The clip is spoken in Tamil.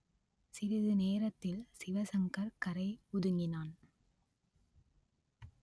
சிறிது நேரத்தில் சிவசங்கர் கரை ஒதுங்கினான்